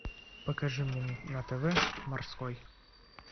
покажи мне на тв морской